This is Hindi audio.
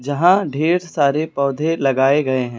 यहां ढेर सारे पौधे लगाए गए हैं।